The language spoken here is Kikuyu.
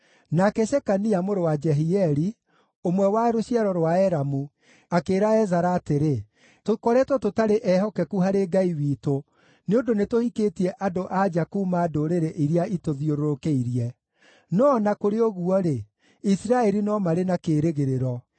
Nake Shekania mũrũ wa Jehieli, ũmwe wa rũciaro rwa Elamu, akĩĩra Ezara atĩrĩ, “Tũkoretwo tũtarĩ ehokeku harĩ Ngai witũ nĩ ũndũ nĩtũhikĩtie andũ-a-nja kuuma ndũrĩrĩ iria itũthiũrũrũkĩirie. No o na kũrĩ ũguo-rĩ, Isiraeli no marĩ na kĩĩrĩgĩrĩro.